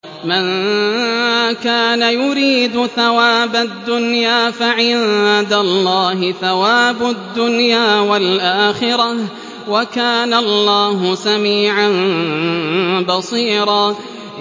مَّن كَانَ يُرِيدُ ثَوَابَ الدُّنْيَا فَعِندَ اللَّهِ ثَوَابُ الدُّنْيَا وَالْآخِرَةِ ۚ وَكَانَ اللَّهُ سَمِيعًا بَصِيرًا